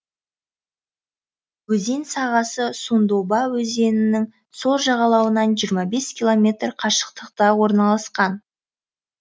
өзен сағасы сундоба өзенінің сол жағалауынан жиырма бес километр қашықтықта орналасқан